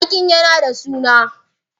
Zakin yana da suna?